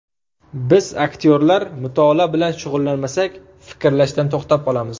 Biz aktyorlar mutolaa bilan shug‘ullanmasak, fikrlashdan to‘xtab qolamiz.